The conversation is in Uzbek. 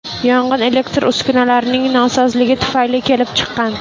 Yong‘in elektr uskunalarning nosozligi tufayli kelib chiqqan.